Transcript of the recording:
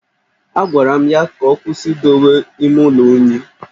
Agwara m ya ka ọ kwụsị idowe ime ụlọ unyi